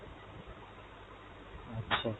আচ্ছা।